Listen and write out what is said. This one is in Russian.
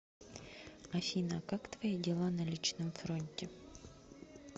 афина как твои дела на личном фронте